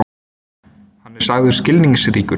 Hann er sagður skilningsríkur.